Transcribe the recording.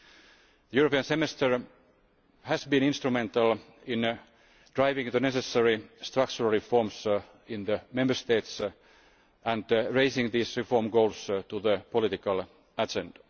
The European Semester has been instrumental in driving the necessary structural reforms in the Member States and raising these reform goals to the political agenda.